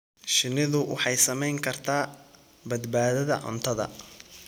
Shinnidu waxay saamayn kartaa badbaadada cuntada.